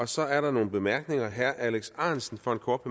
så er der nogle bemærkninger herre alex ahrendtsen for en kort